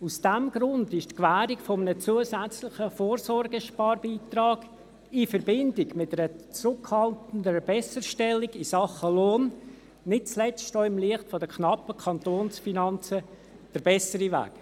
Aus diesem Grund ist die Gewährung eines zusätzlichen Vorsorgesparbeitrags in Verbindung mit einer zurückhaltenden Besserstellung in Sachen Lohn nicht zuletzt auch im Licht der knappen Kantonsfinanzen der bessere Weg.